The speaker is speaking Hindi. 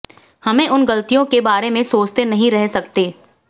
हमें उन गलतियों के बारे में सोचते नहीं रह सकते